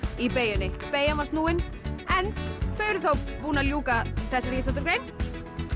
í beygjunni beygjan var snúin þau eru þá búin að ljúka þessari íþróttagrein